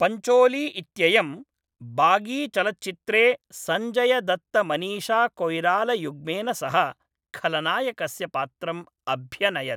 पञ्चोली इत्ययं बागीचलच्चित्रे संजयदत्तमनीषाकोयिरालायुग्मेन सह खलनायकस्य पात्रम् अभ्यनयत्।